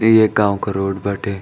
ई एक गाँव क रोड बाटे।